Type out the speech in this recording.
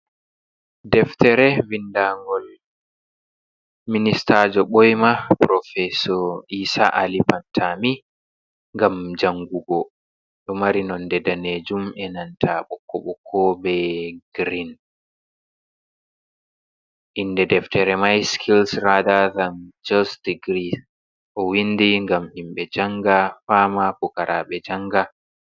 Deftere vindangol minista jo ɓoima profesor isa Ali phantami ngam jangugo, ɗo mari nonde danejum e nanta bokko bokko be grin, inde deftere mai skils rada dan jos degrii, o windi ngam himɓe janga fama fukaraɓe janga.